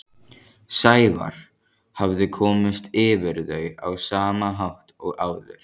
Sævar hafði komist yfir þau á sama hátt og áður.